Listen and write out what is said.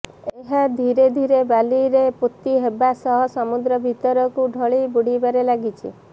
ଏହା ଧୀରେ ଧୀରେ ବାଲିରେ ପୋତି ହେବା ସହ ସମୁଦ୍ର ଭିତରକୁ ଢଳି ବୁଡ଼ିବାରେ ଲାଗିଛି